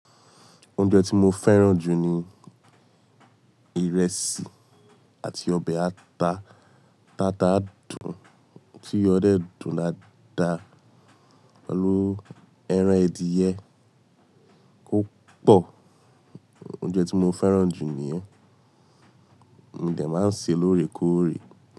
Oúnjẹ tí mo fẹ́ràn jù ni ìrẹsì àti ọbẹ̀ ata tata dùnn tí iyo de dùn daada pẹ̀lú ẹran adìyẹ kò pọ̀. Oúnjẹ tí mo fẹ́ràn jù nìyẹn. Mo de máa n seè lóorè kóòrè.